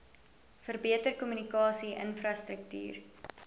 verbeter kommunikasie infrastruktuur